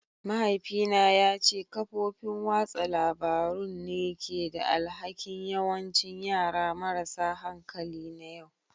Mahaifina ya ce kafofin watsa labarun ne ke da alhakin yawancin yara marasa hankali na yau